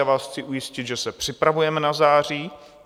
Já vás chci ujistit, že se připravujeme na září.